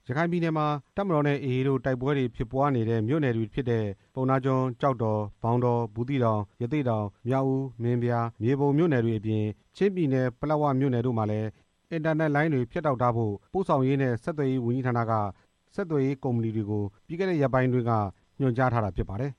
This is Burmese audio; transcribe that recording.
ရခိုင်ပြည်နယ်မှာ တပ်မတော်နဲ့ AA တို့ တိုက်ပွဲတွေဖြစ်ပွားနေတဲ့ မြို့နယ်တွေဖြစ်တဲ့ ပုဏ္ဏားကျွန်း၊ ကျောက်တော်၊ မောင်တော၊ ဘူးသီးတောင်၊ ရသေ့တောင်၊ မြောက်ဦး၊ မင်းပြား၊ မြေပုံ မြို့နယ်တွေ အပြင် ချင်းပြည်နယ် ပလက်ဝမြို့နယ်တို့မှာ အင်တာနက်လိုင်းတွေဖြတ်တောက်ထားဖို့ ပို့ဆောင်ရေးနဲ့ဆက်သွယ်ရေးဝန်ကြီးဌာနက ဆက်သွယ်ရေးကုမ္ပဏီတွေကို ညွှန်ကြားထားတာ ဖြစ်ပါတယ်